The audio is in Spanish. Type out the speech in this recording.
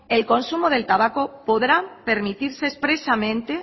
el consumo del tabaco podrá permitirse expresamente